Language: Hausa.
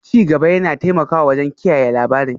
Ci gaba yana taimakawa wajen kiyaye labarin